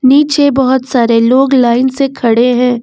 पीछे बहोत सारे लोग लाइन से खड़े हैं।